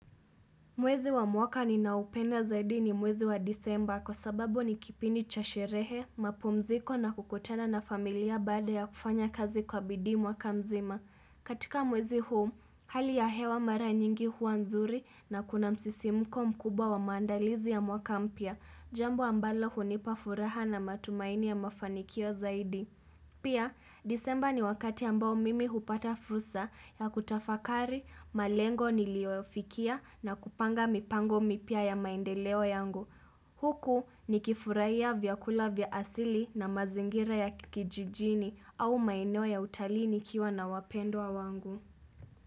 Mwezi wa mwaka ninao upenda zaidi ni mwezi wa disemba kwa sababu ni kipindi cha sherehe, mapumziko na kukutana na familia baada ya kufanya kazi kwa bidhii mwaka mzima. Katika mwezi huu, hali ya hewa mara nyingi hua nzuri na kuna msisimuko mkubwa wa maandalizi ya mwaka mpya, jambo ambalo hunipafuraha na matumaini ya mafanikio zaidi. Pia, disemba ni wakati ambao mimi hupata fursa ya kutafakari, malengo niliyofikia na kupanga mipango mipya ya maendeleo yangu. Huku ni kifurahia vyakula vya asili na mazingira ya kijijini au maeneo ya utalii ni kiwa na wapendwa wangu.